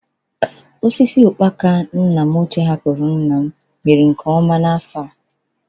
Osisi ụkpaka nna m ochie hapụrụ nna m mịrị nke ọma n'afọ a.